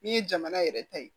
N'i ye jamana yɛrɛ ta ye